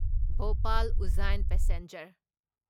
Bhopal Ujjain passenger